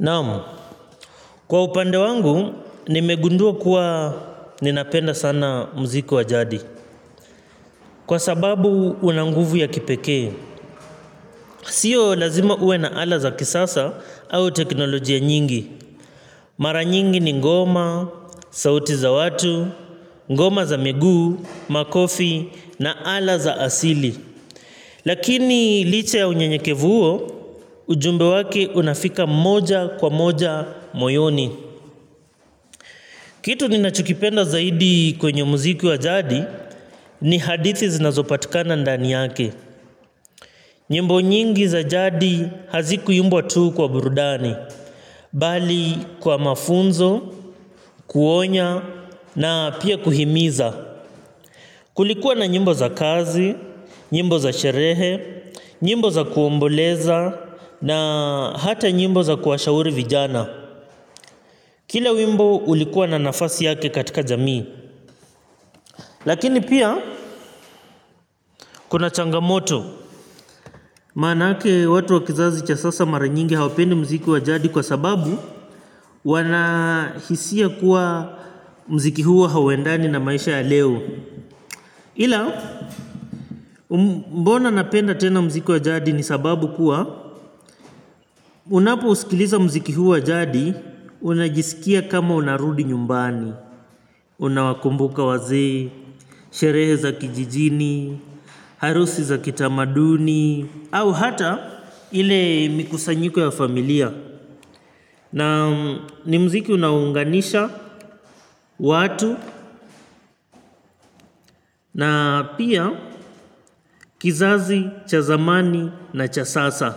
Naam, kwa upande wangu, nimegundua kuwa ninapenda sana mziku wa jadi. Kwa sababu una nguvu ya kipekee. Sio lazima uwe na ala za kisasa au teknolojia nyingi. Mara nyingi ni ngoma, sauti za watu, ngoma za miguu, makofi na ala za asili. Lakini liche ya unyenyekevu uo, ujumbe wake unafika moja kwa moja moyoni. Kitu ninachokipenda zaidi kwenye muziki wa jadi ni hadithi zinazopatikana ndani yake. Nyimbo nyingi za jadi hazikuimbwa tuu kwa burudani. Bali kwa mafunzo, kuonya na pia kuhimiza. Kulikuwa na nyimbo za kazi, nyimbo za sherehe, nyimbo za kuomboleza na hata nyimbo za kuwashauri vijana. Kila wimbo ulikuwa na nafasi yake katika jamii. Lakini pia kuna changamoto. Maanake watu wa kizazi cha sasa mara nyingi hawapendi mziki wa jadi kwa sababu wanahisia kuwa mziki huwa hauwendani na maisha ya leo. Ila mbona napenda tena mziki wa jadi ni sababu kuwa unapousikiliza mziki huwa jadi unajisikia kama unarudi nyumbani. Unawakumbuka wazee sherehe za kijijini harusi za kitamaduni au hata ile mikusanyiko ya familia. Na ni mziki unaunganisha watu na pia kizazi, cha zamani na cha sasa.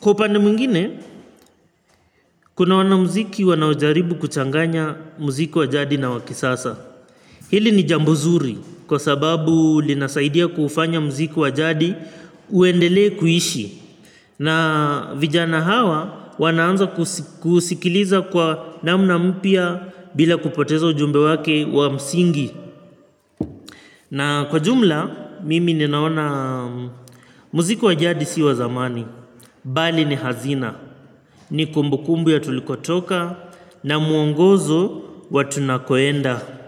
Kwa upande mwingine, kuna wanamziki wanaojaribu kuchanganya mziki wa jadi na wa kisasa. Hili ni jambo zuri kwa sababu linasaidia kufanya mziki wa jadi uendele kuishi. Na vijana hawa wanaanza kuusikiliza kwa namna mpya bila kupoteza ujumbe wake wa msingi. Na kwa jumla, mimi ninaona muziki wa jadi si wa zamani. Bali ni hazina. Ni kumbukumbu ya tulikotoka na muongozo watunakoenda.